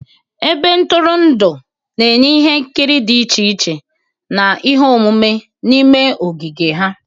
Ebe ntụrụndụ na-enye ihe nkiri dị iche iche na ihe omume n'ime ogige ha.